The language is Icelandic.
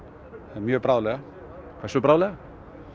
mjög bráðlega hversu bráðlega